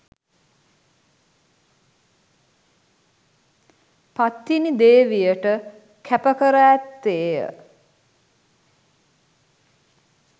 පත්තිනි දේවියට කැප කර ඇත්තේය